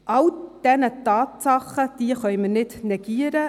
All diese Tatsachen können wir nicht negieren.